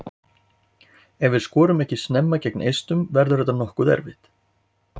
Ef við skorum ekki snemma gegn Eistum verður þetta nokkuð erfitt.